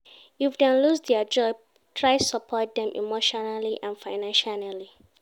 if dem loose their job try support dem emotionally and financially